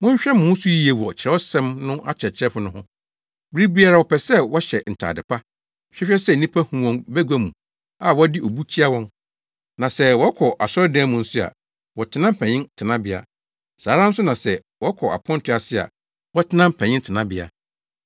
“Monhwɛ mo ho so yiye wɔ Kyerɛwsɛm no akyerɛkyerɛfo no ho. Bere biara wɔpɛ sɛ wɔhyɛ ntade pa, hwehwɛ sɛ nnipa hu wɔn bagua mu a wɔde obu kyia wɔn, na sɛ wɔkɔ asɔredan mu nso a, wɔtena mpanyin tenabea. Saa ara nso na sɛ wɔkɔ aponto ase a, wɔtena mpanyin tenabea.